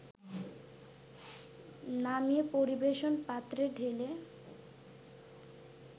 নামিয়ে পরিবেশন পাত্রে ঢেলে